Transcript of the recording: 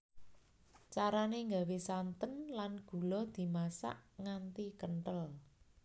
Carane nggawe santen lan gula dimasak nganti kenthel